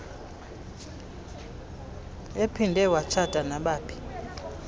ephinde watshata nabaphi